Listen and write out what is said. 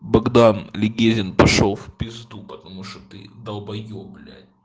богдан легезин пошёл в пизду потому что ты долбаёб блять